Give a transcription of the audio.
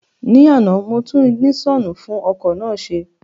Ní àná, mo tún ìgìnísọ̀nù fún ọkọ̀ náà ṣe